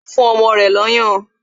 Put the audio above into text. O n fún ọmọ rẹ̀ lọ́yàn